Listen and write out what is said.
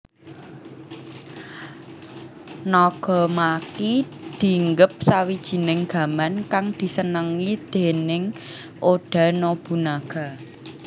Nagamaki dinggep sawijining gaman kang disenengi déning Oda Nobunaga